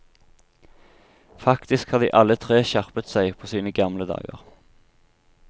Faktisk har de alle tre skjerpet seg på sine gamle dager.